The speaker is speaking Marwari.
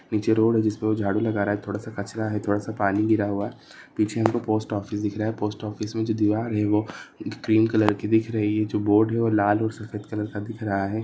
नीचे रोड़ है जिसपे वो झाड़ू लगा रहा है थोडा सा कचरा है थोडा सा पानी गिरा हुआ है पीछे हमको पोस्ट फिस दिख रहा है पोस्ट ऑफिस में जो दीवार है वो क्रीम कलर की दिख रही है जो बोर्ड है वो लाल और सफेद कलर का दिख रहा है।